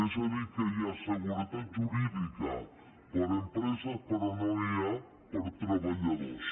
és a dir que hi ha seguretat jurídica per a empreses però no n’hi ha per a treballadors